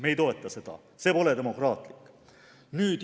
Me ei toeta seda, see pole demokraatlik.